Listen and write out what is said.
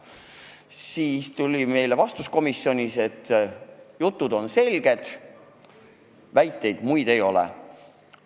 Komisjonis vastati meile, et jutt on selge, muid väiteid ei ole.